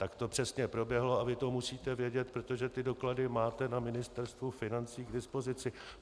Tak to přesně proběhlo a vy to musíte vědět, protože tyto doklady máte na Ministerstvu financí k dispozici.